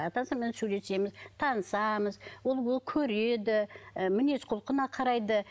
атасымен сөйлесеміз танысамыз ол көреді ы мінез құлқына қарайды